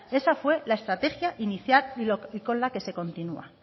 esa fue la estrategia inicial y con la que se continúa